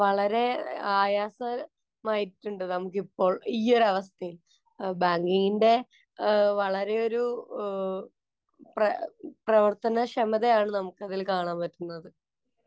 ചോദിക്കാനൊക്കെ വളരെ ആയാസ, മായിട്ടുണ്ട് നമുക്കിപ്പോള്‍ ഈ ഒരവസ്ഥയില്‍. ബാങ്കിങ്ങിന്‍റെ വളരെ ഒരു പ്ര, പ്രവര്‍ത്തനക്ഷമതയാണ് നമുക്കതില്‍ കാണാന്‍ പറ്റുന്നത്.